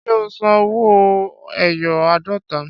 Ṣé ó san owó ẹyọ àádọ́ta?